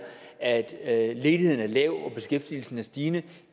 at at ledigheden er lav og beskæftigelsen er stigende